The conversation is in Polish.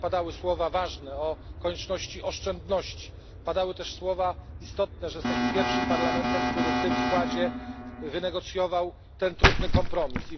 Bo tutaj padały ważne słowa o konieczności oszczędności. Padały też słowa istotne, że jesteśmy pierwszym parlamentem, który w tym składzie wynegocjował ten trudny kompromis.